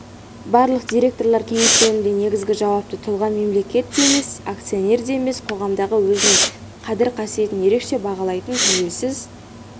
барлық директорлар кеңестерінде негізгі жауапты тұлға мемлекет те емес акционер де емес қоғамдағы өзінің қадір-қасиетін ерекше бағалайтын тәуелсіз